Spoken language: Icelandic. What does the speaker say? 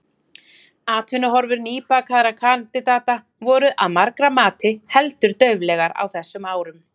Atvinnuhorfur nýbakaðra kandidata voru, að margra mati, heldur dauflegar á þessum árum.